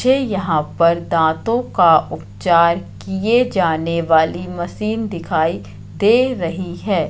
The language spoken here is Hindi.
मुझे यहां पर दांतों का उपचार किए जाने वाली मशीन दिखाई दे रही है।